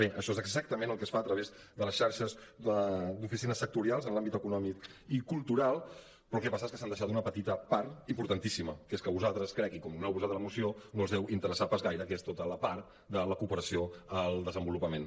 bé això és exactament el que es fa a través de les xarxes d’oficines sectorials en l’àmbit econòmic i cultural però el que passa és que s’han deixat una petita part importantíssima que és que a vosaltres crec i com que no ho heu posat a la moció no us deu interessar pas gaire que és tota la part de la cooperació al desenvolupament